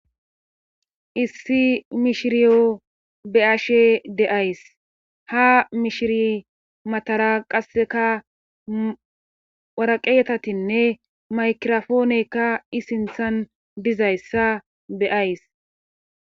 Issi mishiriyo beashe deays ha mishiri matara qasseka waraqeetatinne maykirofooneykka isinthan dizayssa beays